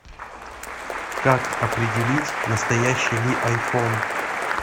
как определить настоящий ли айфон